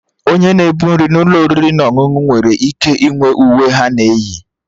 Onye na-ebu nri n'ụlọ oriri na ọṅụṅụ nwere ike inwe uwe ha na-eyi